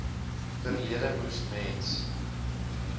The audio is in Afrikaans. verlede moes mens